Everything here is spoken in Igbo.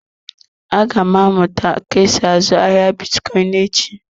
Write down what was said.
Aga m amụta ka esi azụ ahịa bitcoin echi.